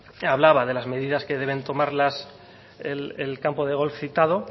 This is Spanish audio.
que hablaba de las medidas que deben tomar el campo de golf citado